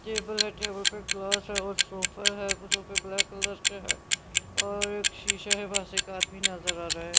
Table है table पर glass है और सोफा है सोफे ब्लैक कलर के है और एक शीशा है वहां से एक आदमी नजर आ रहा है।